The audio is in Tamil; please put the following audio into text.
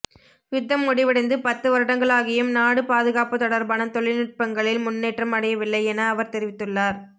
யுத்தம் முடிவடைந்து பத்து வருடங்களாகியும் நாடு பாதுகாப்பு தொடர்பான தொழில்நுட்பங்களில் முன்னேற்றம் அடையவில்லை என அவர் தெரிவித்துள்ளார்